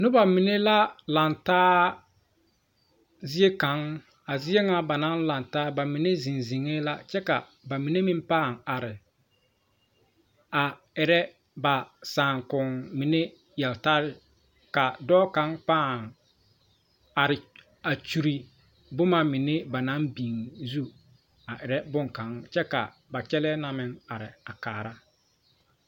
Noba mine la laŋtaa zie kaŋ a zie ŋa ba naŋ laŋ taa ba mine zeŋ zeŋɛɛ la kyɛ ka ba mine meŋ paŋ are a erɛ ba saakom mine yeltarre ka dɔɔ kaŋ pãã are a kyure bomma mine banaŋ biŋ zu a erɛ bonkaŋ kyɛ ka ba kyɛlɛɛ na meŋ are a kaara.